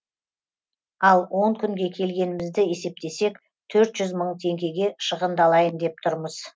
ал он күнге келгенімізді есептесек төрт жүз мың теңгеге шығындалайын деп тұрмыз